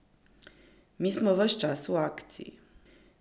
Mi smo ves čas v akciji.